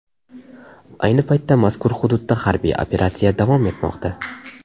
Ayni paytda mazkur hududda harbiy operatsiya davom etmoqda.